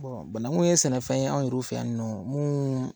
Banakun ye sɛnɛfɛn ye anw fɛ yan ninnu mun